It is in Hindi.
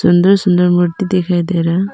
अंदर सुंदर मूर्ति दिखाई दे रहा--